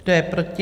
Kdo je proti?